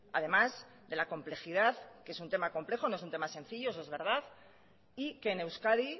además de la complejidad que es un tema complejo no es un tema sencillo eso es verdad y que en euskadi